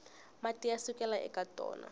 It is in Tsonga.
mati ya sukelaka eka tona